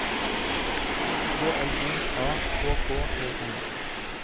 K L O A K K E N